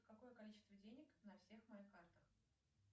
какое количество денег на всех моих картах